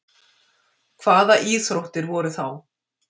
Hvaða íþróttir voru þá?